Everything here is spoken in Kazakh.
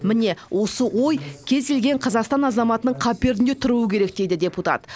міне осы ой кез келген қазақстан азаматының қаперінде тұруы керек дейді депутат